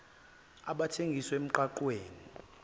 abathengisa emgwaqw eni